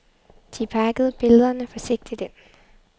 De pakkede billederne forsigtigt ind.